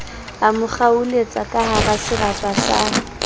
mo kgaoletsa kahara serapa sa